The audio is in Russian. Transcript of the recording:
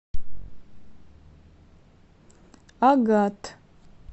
агат